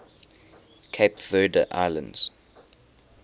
cape verde islands